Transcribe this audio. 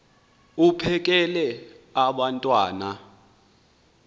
uphekel abantwana pheka